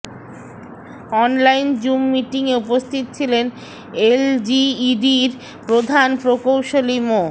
online Zoom মিটিংয়ে উপস্থিত ছিলেন এলজিইডির প্রধান প্রকৌশলী মো